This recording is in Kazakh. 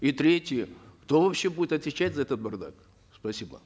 и третье кто вообще будет отвечать за этот бардак спасибо